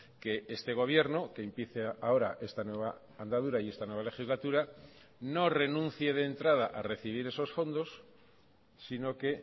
que este gobierno que empiece ahora esta nueva andadura y esta nueva legislatura no renuncie de entrada a recibir esos fondos sino que